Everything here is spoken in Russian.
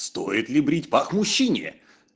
стоит ли брить пах мужчине